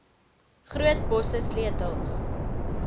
groot bosse sleutels